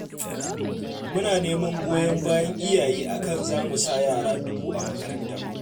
Muna neman goyon bayan iyaye a kan za mu sa yara dubu a makaranta